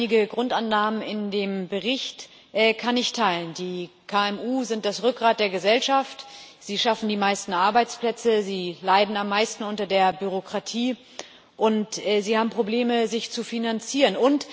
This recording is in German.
Einige Grundannahmen in dem Bericht kann ich teilen KMU sind das Rückgrat der Gesellschaft, sie schaffen die meisten Arbeitsplätze, sie leiden am meisten unter der Bürokratie, sie haben Probleme, sich zu finanzieren.